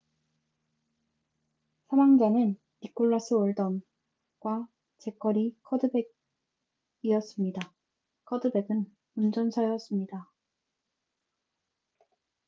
사망자는 니콜라스 올던25과 재커리 커드백21이었습니다. 커드백은 운전사였습니다